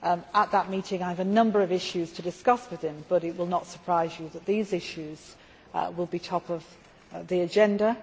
At that meeting I have a number of issues to discuss with him, but it will not surprise you that these issues will be top of the agenda.